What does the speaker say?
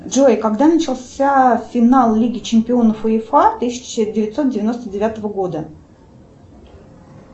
джой когда начался финал лиги чемпионов уефа тысяча девятьсот девяносто девятого года